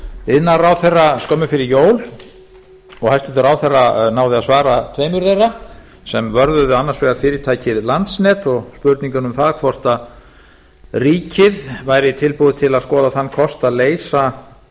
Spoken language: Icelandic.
iðnaðarráðherra skömmu fyrir jól og hæstvirtur ráðherra náði að svara tveimur þeirra sem vörðuðu annars vegar fyrirtækið landsnet og spurninguna um það hvort ríkið væri tilbúið til að skoða þann kost að leysa